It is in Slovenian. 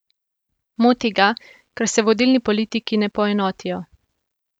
Moti ga, ker se vodilni politiki ne poenotijo.